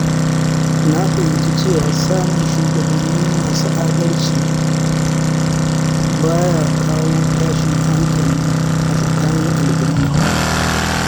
Na fahimci cewa samun shugabanni masu adalci, baya kawo tashin hankali a tsakanin al’umma.